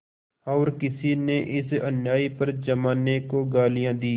और किसी ने इस अन्याय पर जमाने को गालियाँ दीं